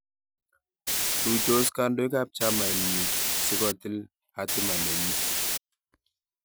Tuitos kandoik ab chamainyi si kotil hatima nenyi